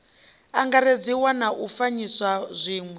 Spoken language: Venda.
angaredziwa na u fanyisa zwiwe